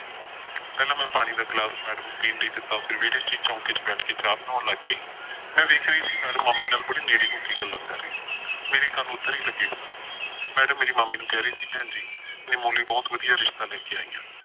ਪਹਿਲਾਂ ਮੈਂ ਪਾਣੀ ਦਾ ਗਿਲਾਸ ਮੈਡਮ ਨੂੰ ਪੀਣ ਲਈ ਦਿਤਾ ਫਿਰ ਵੇਹੜੇ ਚ ਈ ਚੌਂਕੇ ਚ ਬੈਠ ਕੇ ਚਾਹ ਬਣਾਉਣ ਲੱਗ ਪਈ। ਮੈਂ ਵੇਖ ਰਹੀ ਸੀ ਮੈਡਮ ਮਾਮੀ ਨਾਲ ਬੜੀ ਨੇੜੇ ਹੋ ਕੇ ਗੱਲਾਂ ਕਰ ਰਹੀ ਸੀ ਮੇਰੇ ਕੰਨ ਓਧਰ ਈ ਲੱਗੇ ਸਨ। ਮੈਡਮ ਮੇਰੀ ਮਾਮੀ ਨੂੰ ਕਹਿ ਰਹੀ ਸੀ, ਭੈਣ ਜੀ ਨਿੰਮੋ ਲਈ ਬਹੁਤ ਵਧੀਆ ਰਿਸ਼ਤਾ ਲੈ ਕੇ ਆਈਂ ਆਂ।